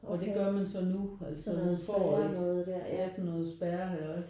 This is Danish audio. Og det gør man så nu altså man får et ja sådan noget spærre halløj